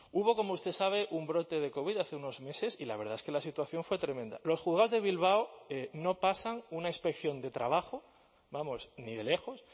hubo como usted sabe un brote de covid hace unos meses y la verdad es que la situación fue tremenda los juzgados de bilbao no pasan una inspección de trabajo vamos ni de lejos